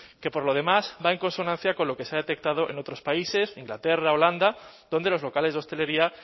que por lo demás va en consonancia con lo que se ha detectado en otros países inglaterra holanda donde los locales de hostelería